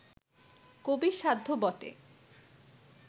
কবির সাধ্য বটে